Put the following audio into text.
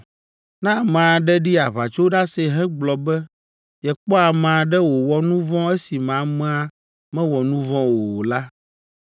Ne ame aɖe ɖi aʋatsoɖase hegblɔ be yekpɔ ame aɖe wòwɔ nu vɔ̃ esime amea mewɔ nu vɔ̃ la o la,